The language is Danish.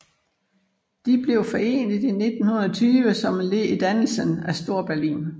De blev forenet i 1920 som led i dannelsen af Storberlin